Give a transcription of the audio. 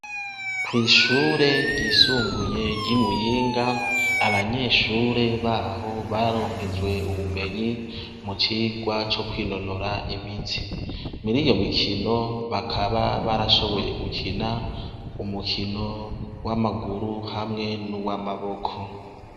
Kw'ishure ryisumbuye ry'imuyinga, abanyeshure baho bararonkejwe ubumenyi ,mucirwa co kwinonora imitsi, mur'iryo mikino bakaba barashoboye gukina umikino w'amaguru hamwe nuw'amaboko.